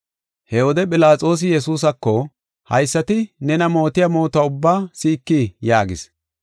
He wode Philaxoosi Yesuusako, “Haysati nena mootiya mootuwa ubbaa si7ikii?” yaagis.